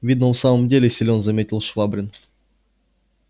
видно он в самом деле силен заметил швабрин